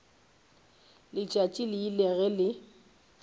letšatši le ile ge le